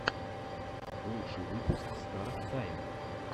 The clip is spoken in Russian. лучший выпуск стар тайма